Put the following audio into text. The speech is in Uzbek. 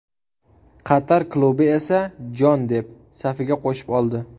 Qatar klubi esa jon deb, safiga qo‘shib oldi.